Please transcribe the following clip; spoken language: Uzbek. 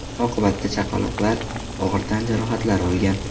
Oqibatda chaqaloqlar og‘ir tan jarohatlari olgan.